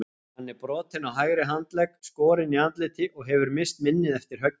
Hann er brotinn á hægri handlegg, skorinn í andliti og hefur misst minnið eftir höggið.